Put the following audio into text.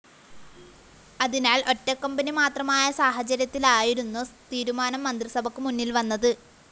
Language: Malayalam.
അതിനാല്‍ ഒറ്റക്കമ്പനി മാത്രമായ സാഹചര്യത്തിലായിരുന്നു തീരുമാനം മന്ത്രിസഭക്ക് മുന്നില്‍വന്നത്